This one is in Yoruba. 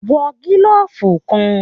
Wọ gilọfu kàn!